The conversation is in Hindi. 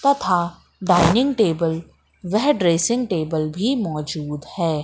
तथा डाइनिंग टेबल वह ड्रेसिंग टेबल भी मौजूद है।